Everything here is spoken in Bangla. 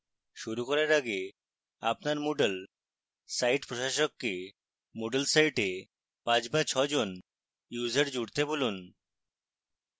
শুরু করার আগে আপনার moodle site প্রশাসককে moodle site 5 বা 6 জন users জুড়তে বলুন